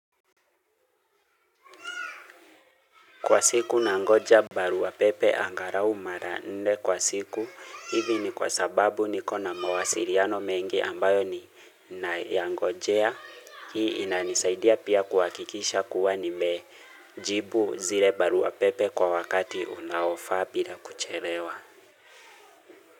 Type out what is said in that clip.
Kwa siku nangoja barua pepe angalau mara nne kwa siku hivi ni kwa sababu nikona mawasiliano mengi ambayo ninayangojea hii inanisaidia pia kuhakikisha kuwa nime jibu zile barua pepe kwa wakati unaofa bila kuchelewa.